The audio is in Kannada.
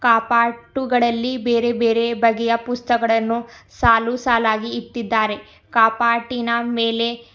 ಕಪಾಟುಗಳಲ್ಲಿ ಬೇರೆ ಬೇರೆ ಬಗೆಯ ಪುಸ್ತಕಗಳನ್ನು ಸಾಲುಸಾಲಾಗಿ ಇಟ್ಟಿದ್ದಾರೆ ಕಪಾಟಿನ ಮೇಲೆ--